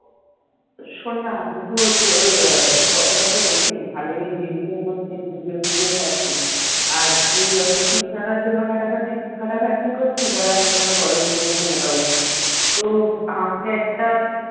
শোন না আমি তো তোর photo photo দেখি ভালোই gym টিম করছিস video টিডিও ছারছিস আর তুই এত fit থাকার জন্য খাটাখাটি খাটাখাটনি করছিস আর আমি এখানে ঘরে বসে বসে মোটা হচ্ছি তো হালকা একটা